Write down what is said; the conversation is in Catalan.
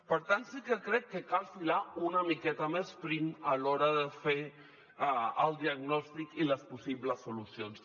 per tant sí que crec que cal filar una miqueta més prim a l’hora de fer el diagnòstic i les possibles solucions